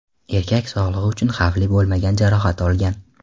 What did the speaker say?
Erkak sog‘lig‘i uchun xavfli bo‘lmagan jarohat olgan.